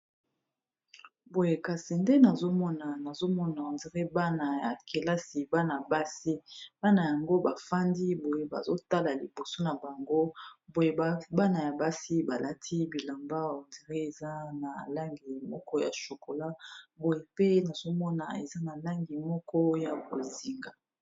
Boye kasi nde nazomona on dire bana ya kelasi bana basi bana yango bafandi boye bazotala liboso na bango boye bana ya basi balati bilamba on dire eza na langi moko ya shokola boye pe nazomona eza na langi moko ya bozinga.